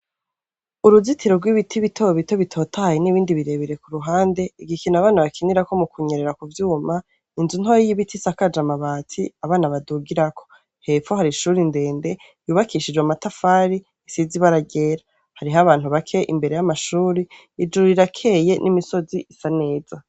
Uruzitiro rw'ibiti bitobito bitotahaye n'ibindi birebire ku ruhande, igikino abana bakinirako mu kunyerera ku vyuma, inzu ntoya y'ibiti isakaje amabati abana badugirako, hepfo hari ishuri ndende yubakishijwe amatafari isizi ibara ryera, hariho abantu bake imbere y'amashuri ijuru rirakeye n'imisozi isa neza.